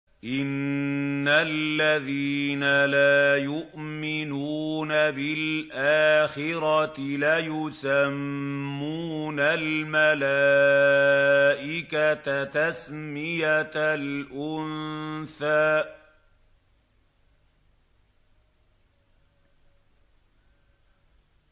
إِنَّ الَّذِينَ لَا يُؤْمِنُونَ بِالْآخِرَةِ لَيُسَمُّونَ الْمَلَائِكَةَ تَسْمِيَةَ الْأُنثَىٰ